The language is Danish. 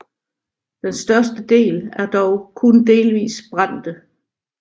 Den største del er dog kun delvis brændte